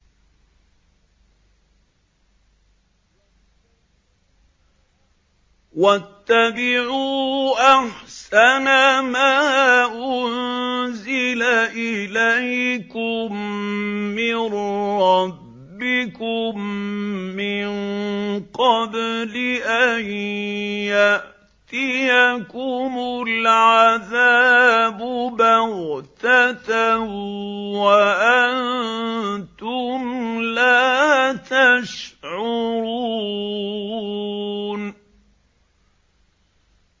وَاتَّبِعُوا أَحْسَنَ مَا أُنزِلَ إِلَيْكُم مِّن رَّبِّكُم مِّن قَبْلِ أَن يَأْتِيَكُمُ الْعَذَابُ بَغْتَةً وَأَنتُمْ لَا تَشْعُرُونَ